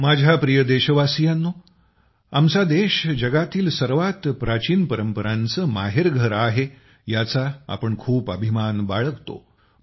माझ्या प्रिय देशवासियांनो आमचा देश जगातील सर्वात प्राचीन परंपरांचं माहेरघर आहे याचा आम्ही खूप अभिमान बाळगतो